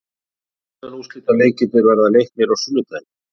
Undanúrslitaleikirnir verða leiknir á sunnudaginn.